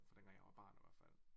Far dengang jeg var barn i hvert fald